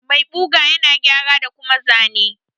Mai ɓuga ƴana gƴara da kuma zane.